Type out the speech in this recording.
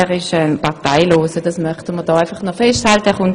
Er ist parteilos, das möchte ich festhalten.